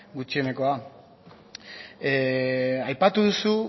gutxienekoa aipatu duzu